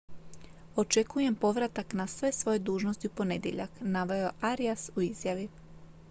očekujem povratak na sve svoje dužnosti u ponedjeljak naveo je arias u izjavi